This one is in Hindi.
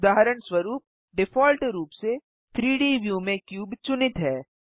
उदहारणस्वरुप डिफ़ॉल्ट रूप से 3डी व्यू में क्यूब चुनित है